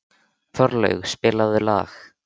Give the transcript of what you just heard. Þorlaug, spilaðu lag.